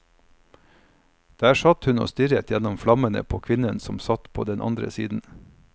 Der satt hun og stirret gjennom flammene på kvinnen som satt på den andre siden.